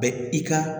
Bɛ i ka